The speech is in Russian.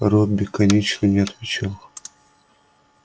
робби конечно не отвечал